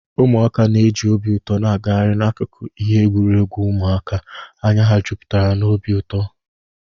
Ụmụaka na-eji obi ụtọ na-agagharị n'akụkụ ihe egwuregwu ụmụaka, anya ha juputara n'obi ụtọ